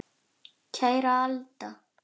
Kæra Alda.